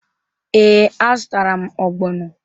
Ee, a zụtara m ogbono.